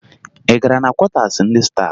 Ị gara na kwọtaasi ndị staafụ?